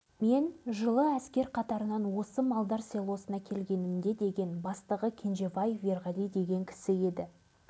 осы арада атом бомбасын атпен сүйреткен оқиғаны көзімен көрген үрия қайыржанов ақсақалдың тағы бір куәлігін еске алған орынды